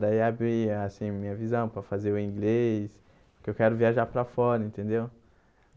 Daí, abri assim minha visão para fazer o inglês, porque eu quero viajar para fora, entendeu?